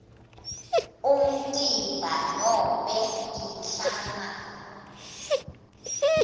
umtimba nobe inhlangano